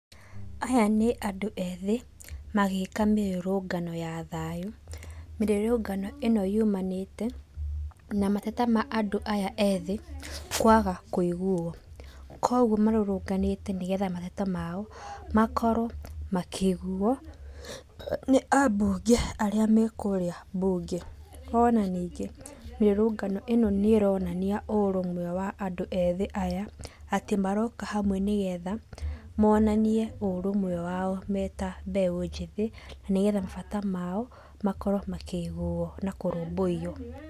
Aya nĩ andũ ethĩ, magĩka mĩrũrũngano ya thayũ, mĩrũrũngano ĩno yumanĩte na mateta ma andũ aya ethĩ, kwaga kuiguo. Koguo marũrũnganĩte nĩgetha mateta mao, makorwo makĩiguo, nĩ ambunge arĩa mekũrĩa mbunge. Ona ningĩ, mĩrũrũngano ĩno nĩronania ũrũmwe wa andũ ethĩ aya, atĩ maroka hamwe nĩgetha monanie ũrũmwe me ta mbeũ njĩthĩ, nĩgetha mabata mao makorwo makĩiguo.